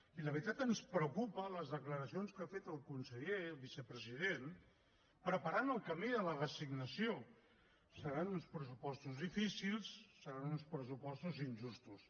i la veritat ens preocupen les declaracions que ha fet el conseller el vicepresident preparant el camí de la resignació seran uns pressupostos difícils seran uns pressupostos injustos